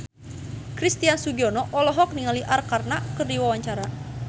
Christian Sugiono olohok ningali Arkarna keur diwawancara